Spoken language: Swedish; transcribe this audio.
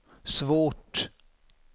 svårt